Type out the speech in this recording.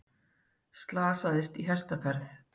Slasaðist í hestaferð